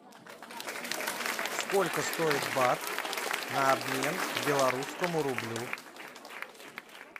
сколько стоит бат на обмен к белорусскому рублю